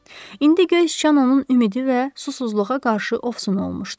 İndi göy sıçan onun ümidi və susuzluğa qarşı ofsun olmuşdu.